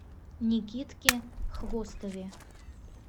никитке хвостове